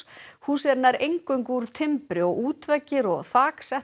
húsið er nær eingöngu úr timbri og útveggir og þak